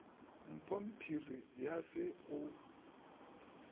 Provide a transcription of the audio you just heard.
mpho phiri ya se o